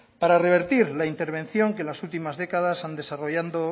para revertir la intervención que en las últimas décadas